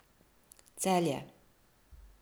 Celje.